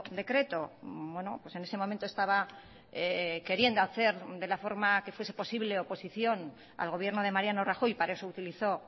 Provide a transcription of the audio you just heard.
decreto en ese momento estaba queriendo hacer de la forma que fuese posible oposición al gobierno de mariano rajoy y para eso utilizó